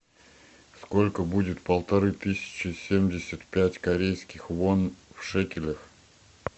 сколько будет полторы тысячи семьдесят пять корейских вон в шекелях